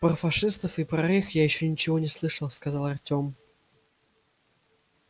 про фашистов и про рейх я ещё ничего не слышал сказал артём